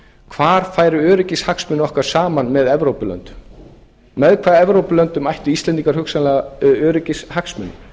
hvar færu öryggishagsmunir okkar saman með evrópulöndum með hvaða evrópulöndum ættu íslendingar hugsanlega öryggishagsmuni